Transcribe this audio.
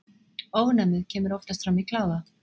Ofnæmið kemur oftast fram í kláða.